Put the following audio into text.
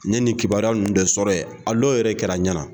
N ɲe ni kibaruya ninnu de sɔrɔ ye a dɔw yɛrɛ kɛra n ɲɛnaa.